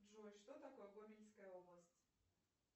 джой что такое гомельская область